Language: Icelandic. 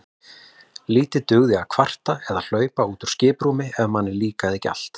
Lítið dugði að kvarta eða hlaupa úr skiprúmi ef manni líkaði ekki allt.